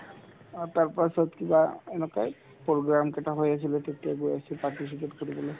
অ, তাৰপাছত কিবা এনেকুৱাই program কেইটা হৈ আছিলে তেতিয়া গৈ আছো participate কৰিবলৈ